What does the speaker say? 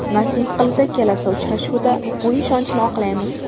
Nasib qilsa, kelasi uchrashuvda bu ishonchni oqlaymiz.